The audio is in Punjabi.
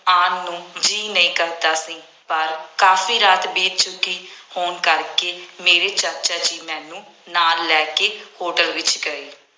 ਆਉਣ ਨੂੰ ਜੀਅ ਨਹੀਂ ਕਰਦਾ ਸੀ। ਪਰ ਕਾਫੀ ਰਾਤ ਬੀਤ ਚੁੱਕੀ ਹੋਣ ਕਰਕੇ ਮੇਰੇ ਚਾਚਾ ਜੀ ਮੈਨੂੰ ਨਾਲ ਲੈ ਕੇ ਹੋਟਲ ਵਿੱਚ ਗਏ।